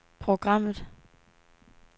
programmet